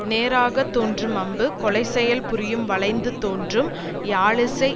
நேராகத் தோன்றும் அம்பு கொலை செயல் புரியும் வளைந்து தோன்றும் யாழ் இசை